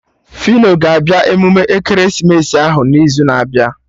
Fino ga-abịa emume ekeresimesi ahụ n'izu na-abịa